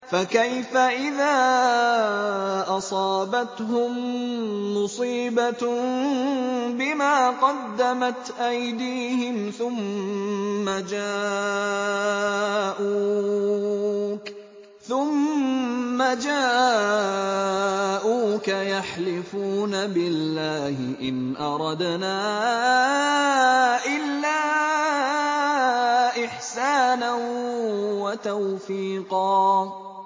فَكَيْفَ إِذَا أَصَابَتْهُم مُّصِيبَةٌ بِمَا قَدَّمَتْ أَيْدِيهِمْ ثُمَّ جَاءُوكَ يَحْلِفُونَ بِاللَّهِ إِنْ أَرَدْنَا إِلَّا إِحْسَانًا وَتَوْفِيقًا